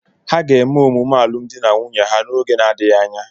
Ha ga-eme omume alụmdi na nwunye ha n’oge na-adịghị anya.